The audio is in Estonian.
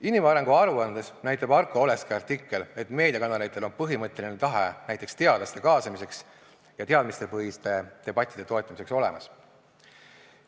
Inimarengu aruandes näitab Arko Oleski artikkel, et meediakanalitel on põhimõtteline tahe näiteks teadlaste kaasamiseks ja teadmistepõhiste debattide toetamiseks olemas.